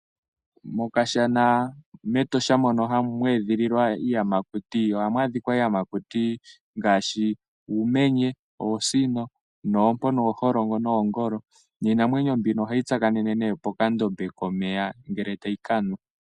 Mokashana mEtosha mono mwe edhililwa iiyamakuti ohamu adhika iiyamakuti ngaashi uumenye, oosino, oompo, ooholongo noongolo. Iinamwenyo mbika ohayi tsakanene nduno pokandombe komeya ngele tayi ka nwa.